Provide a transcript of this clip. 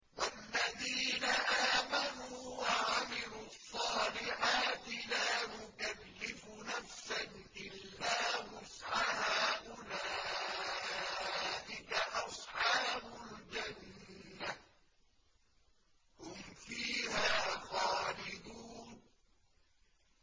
وَالَّذِينَ آمَنُوا وَعَمِلُوا الصَّالِحَاتِ لَا نُكَلِّفُ نَفْسًا إِلَّا وُسْعَهَا أُولَٰئِكَ أَصْحَابُ الْجَنَّةِ ۖ هُمْ فِيهَا خَالِدُونَ